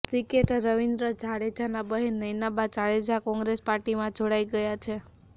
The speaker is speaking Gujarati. ક્રિકેટર રવિન્દ્ર જાડેજાના બહેન નયનાબા જાડેજા કોંગ્રેસ પાર્ટીમાં જોડાઈ ગયાં છે